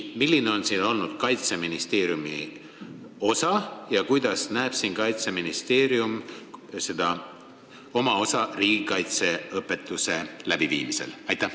Milline on siin olnud Kaitseministeeriumi osa ja millisena näeb Kaitseministeerium oma rolli riigikaitseõpetuse läbiviimisel?